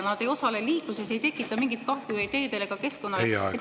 Nad ei osale liikluses, ei tekita mingit kahju ei teedele ega keskkonnale.